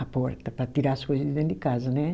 a porta, para tirar as coisa de dentro de casa, né?